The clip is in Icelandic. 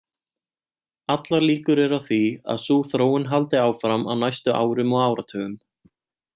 Allar líkur eru á því að sú þróun haldi áfram á næstu árum og áratugum.